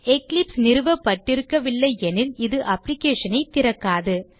Eclipse நிறுவபட்டிருக்கவில்லை எனில் இது application ஐ திறக்காது